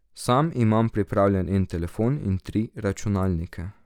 Sam imam prijavljen en telefon in tri računalnike.